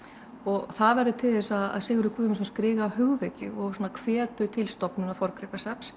og það verður til þess að Sigurður Guðmundsson skrifar hugvekju og svona hvetur til stofnunar forngripasafns